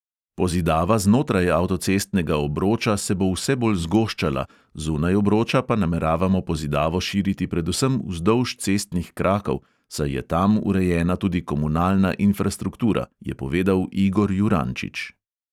Pozidava znotraj avtocestnega obroča se bo vse bolj zgoščala, zunaj obroča pa nameravamo pozidavo širiti predvsem vzdolž cestnih krakov, saj je tam urejena tudi komunalna infrastruktura, je povedal igor jurančič.